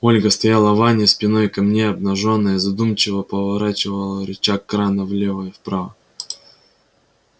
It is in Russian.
ольга стояла в ванне спиной ко мне обнажённая задумчиво поворачивала рычаг крана влево и вправо